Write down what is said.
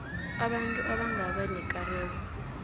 abantu abangaba nekareko